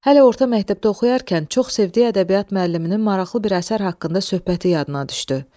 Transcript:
Hələ orta məktəbdə oxuyarkən çox sevdiyi ədəbiyyat müəlliminin maraqlı bir əsər haqqında söhbəti yadına düşdü.